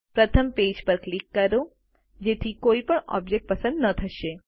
પ્રથમ પેજ પર ક્લિક કરો જેથી કોઈ પણ ઓબ્જેક્ટ પસંદ ન થશે